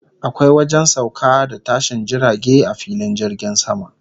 Akwai wajen sauka da tashin jirage a filin jirgin sama